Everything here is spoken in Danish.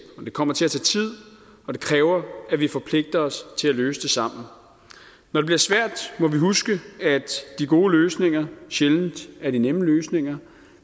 og det kommer til at tage tid og det kræver at vi forpligter os til at løse det sammen når det bliver svært må vi huske at de gode løsninger sjældent er de nemme løsninger